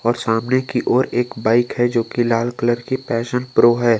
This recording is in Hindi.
सामने की ओर एक बाइक है जोकि लाल कलर की पैशन प्रो है।